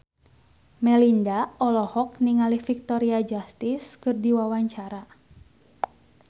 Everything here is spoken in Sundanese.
Melinda olohok ningali Victoria Justice keur diwawancara